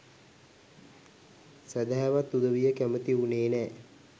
සැදැහැවත් උදවිය කැමති වුනේ නෑ